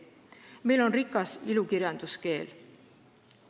Meil on rikas ilukirjanduskeel.